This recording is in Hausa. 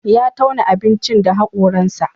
Ya tauna abincin da hakorinsa.